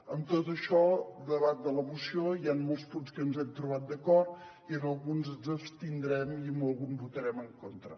amb tot això davant de la moció hi han molts punts amb què ens hem trobat d’acord i en alguns ens abstindrem i en algun votarem en contra